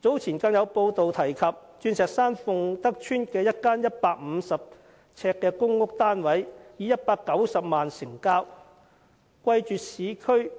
早前更有報道指出，鑽石山鳳德邨一個150呎的公屋單位以190萬元成交，貴絕市區的